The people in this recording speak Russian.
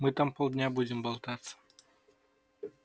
мы там полдня будем болтаться